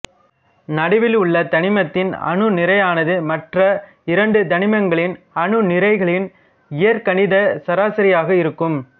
நடுவில் உள்ள தனிமத்தின் அணு நிறையானது மற்ற இரண்டு தனிமங்களின் அணுநிறைகளின் இயற்கணித சராசரியாக இருக்கும்